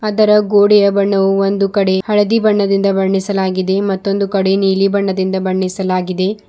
ಅದರ ಗೋಡೆಯ ಬಣ್ಣವು ಒಂದು ಕಡೆ ಹಳದಿ ಬಣ್ಣದಿಂದ ವರ್ಣಿಸಲಾಗಿದೆ ಮತೊಂದು ಕಡೆ ನೀಲ್ಲಿ ಬಣ್ಣದಿಂದ ಬಣ್ಣಿಸಲಾಗಿದೆ.